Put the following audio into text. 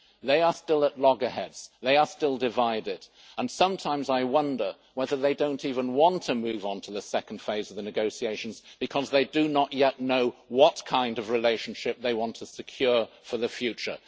They are still at loggerheads, they are still divided, and sometimes I wonder whether they don't even want to move on to the second phase of the negotiations because they do not yet know what kind of relationship they want to secure for the future.